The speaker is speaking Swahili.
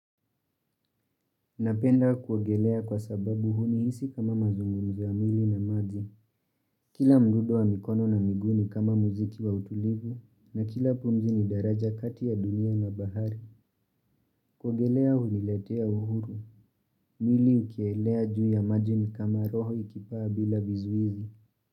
Napenda kuogelea kwa sababu hunihisi kama mazungumzo ya mwili na maji. Kila mdudo wa mikono na miguu ni kama muziki wa utulivu na kila pumzi ni daraja kati ya dunia na bahari. Kuogelea huniletea uhuru. Mili ukielea juu ya maji ni kama roho ikipaa bila vizuizi.